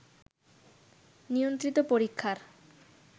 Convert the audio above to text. নিয়ন্ত্রিত পরীক্ষার